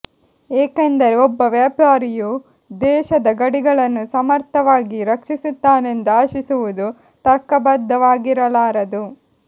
ಏಕೆಂದರೆ ಒಬ್ಬ ವ್ಯಾಪಾರಿಯು ದೇಶದ ಗಡಿಗಳನ್ನು ಸಮರ್ಥವಾಗಿ ರಕ್ಷಿಸುತ್ತಾನೆಂದು ಆಶಿಸುವುದು ತರ್ಕಬದ್ಧವಾಗಿರಲಾರದು